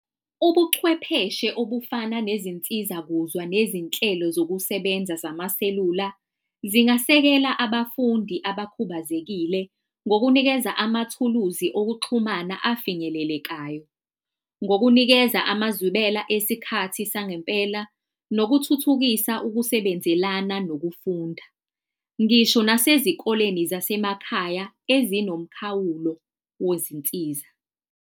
Ubuchwepheshe obufana nezinsiza-kuzwa nezinhlelo zokusebenza zama-cellular zingasekela abafundi abakhubazekile ngokunikeza amathuluzi okuxhumana afinyelelekayo, ngokunikeza amazwibela isikhathi sangempela nokuthuthukisa ukusebenzelana nokufunda. Ngisho nasezikoleni zasemakhaya ezinomkhawulo wezinsiza.